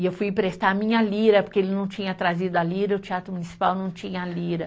E eu fui emprestar a minha lira, porque ele não tinha trazido a lira, o Teatro Municipal não tinha a lira.